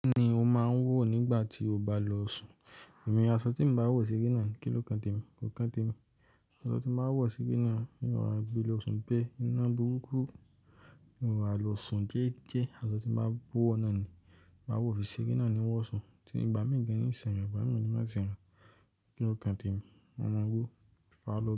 Nígbà tí o bá lọ sùn, èmi aṣọ tí emi báa wọ̀ sere na ni, kí ló kan tèmi? Kò kan tèmi. Aṣọ tí n máa wọ̀ sere na, n roro gbe lọ sùn, bẹ́ iná burúkú, n ó rà lọ sùn jẹ́ẹ́jẹ́, aṣọ tí máa wo ọ́ náà ni, máa wò ọ́ fi ṣere nani ni wọ sùn. Tí ní ìgbà míì gan, ní ìṣẹ́ mi, igbà mi ni má sì ràn, kí ló kan tèmi? Mo máa wọ̀, fà á lọ.